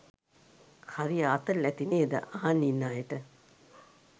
හරි ආතල් ඇතිනේද අහන් ඉන්න අයට?